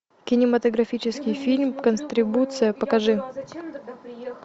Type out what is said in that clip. кинематографический фильм контрибуция покажи